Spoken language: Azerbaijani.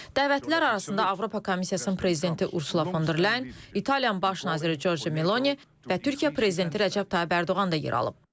Dəvətlilər arasında Avropa Komissiyasının prezidenti Ursula von der Leyen, İtaliyanın baş naziri Giorgia Meloni və Türkiyə prezidenti Rəcəb Tayyib Ərdoğan da yer alıb.